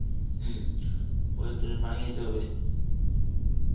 হম. ওদের জন্য পানি খাইতে হবে